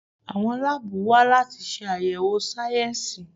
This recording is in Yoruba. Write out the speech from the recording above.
Àwọn láàbù wa láti ṣe àyẹ̀wò sáyẹnsì.